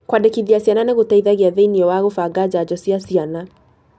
Kũandĩkithia ciana nĩ gũteithagia thĩiniĩ wa gũbanga njanjo cia ciana.